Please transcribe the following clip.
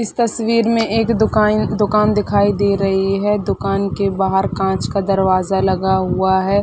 इस तस्वीर में एक दुकान दुकान दिखाई दे रही हैं दुकान के बाहर कांच का दरवाज़ा लगा हुआ हैं।